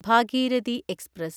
Bhagirathi express